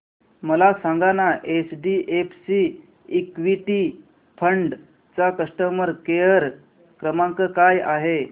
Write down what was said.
मला सांगाना HDFC equity fund चा कस्टमर केअर क्रमांक काय आहे